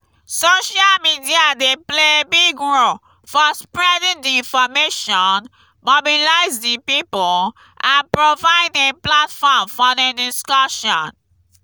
social media dey play big role for spreading di information mobilize di people and provide a platform for di discussion.